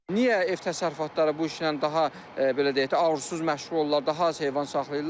Niyə ev təsərrüfatları bu işlə daha belə deyək ki, arzuzsuz məşğul olurlar, daha az heyvan saxlayırlar?